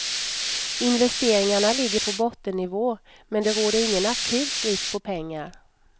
Investeringarna ligger på bottennivå, men det råder ingen akut brist på pengar.